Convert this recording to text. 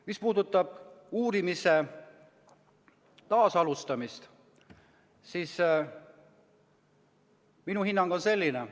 Mis puudutab uurimise taasalustamist, siis minu hinnang on selline.